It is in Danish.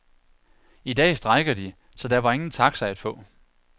I dag strejker de, så der var ingen taxa at få.